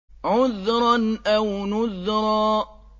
عُذْرًا أَوْ نُذْرًا